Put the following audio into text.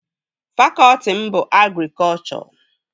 Fakọtị m bụ agrikọchọ